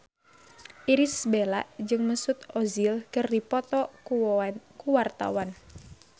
Irish Bella jeung Mesut Ozil keur dipoto ku wartawan